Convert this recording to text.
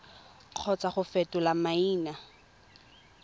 kgotsa go fetola maina tsa